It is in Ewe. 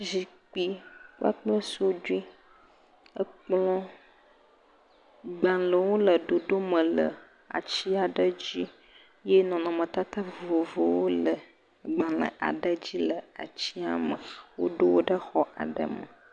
Zikpui kpakple sudue, ekplɔ. Gbalẽwo le ɖoɖo me le ati aɖe dzi ye nɔnɔme tata vovovowo le gbalẽ aɖe dzi le atsia me. Woɖo wò ɖe xɔ aɖewo me.